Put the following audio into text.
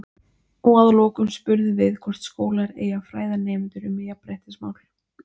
Og að lokum spurðum við hvort skólar eigi að fræða nemendur um jafnréttismál?